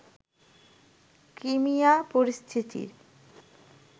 Crimea পরিস্থিতির